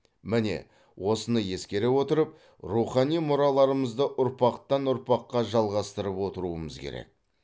міне осыны ескере отырып рухани мұраларымызды ұрпақтан ұрпаққа жалғастырып отыруымыз керек